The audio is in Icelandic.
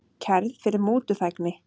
Kærð fyrir mútuþægni